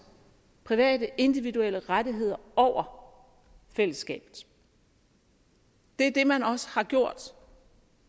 private individuelle rettigheder over fællesskabet det er det man også har gjort